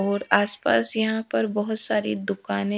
और आस पास यहाँ पर बहोत सारी दुकाने--